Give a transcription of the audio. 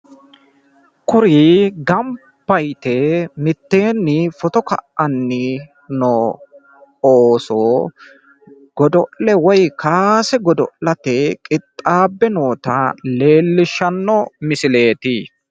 kuri gamba yite mitteenni foto ka'anni noo ooso godo'le woyi kaase godo'late qixxaabbe noota leellishshano misileeti.